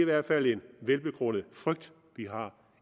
hvert fald en velbegrundet frygt vi har